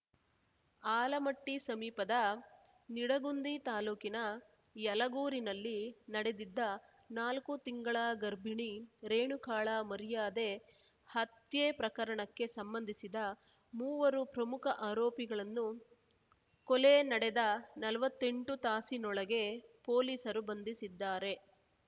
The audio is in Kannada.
ಆಲಮಟ್ಟಿಸಮೀಪದ ನಿಡಗುಂದಿ ತಾಲೂಕಿನ ಯಲಗೂರಿನಲ್ಲಿ ನಡೆದಿದ್ದ ನಾಲ್ಕು ತಿಂಗಳ ಗರ್ಭಿಣಿ ರೇಣುಕಾಳ ಮರ್ಯಾದೆ ಹತ್ಯೆ ಪ್ರಕರಣಕ್ಕೆ ಸಂಬಂಧಿಸಿದ ಮೂವರು ಪ್ರಮುಖ ಆರೋಪಿಗಳನ್ನು ಕೊಲೆ ನಡೆದ ನಲ್ವತ್ತೆಂಟು ತಾಸಿನೊಳಗೆ ಪೊಲೀಸರು ಬಂಧಿಸಿದ್ದಾರೆ